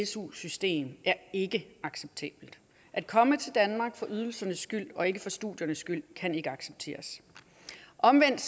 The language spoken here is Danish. su system er ikke acceptabelt at komme til danmark for ydelsernes skyld og ikke for studiernes skyld kan ikke accepteres omvendt